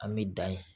An bɛ dan ye